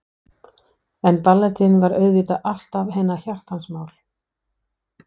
En ballettinn var auðvitað alltaf hennar hjartans mál.